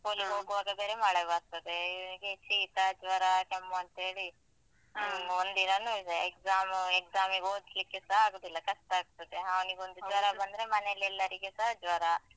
School ಗೆ ಹೋಗೋವಾಗ ಬೇರೆ ಮಳೆ ಬರ್ತದೆ ಇವ್ನಿಗೆ ಶೀತ, ಜ್ವರ, ಕೆಮ್ಮು ಅಂತ ಹೇಳಿ ಅಹ್ ಒಂದಿನನು ಇದೆ. exam, exam ಗೆ ಓದ್ಲಿಕ್ಕೆಸ ಆಗುದಿಲ್ಲ, ಕಷ್ಟ ಆಗ್ತದೆ. ಅವನಿಗೊಂದು ಜ್ವರ ಬಂದ್ರೆ ಮನೇಲಿ ಎಲ್ಲರಿಗೆಸ ಜ್ವರ.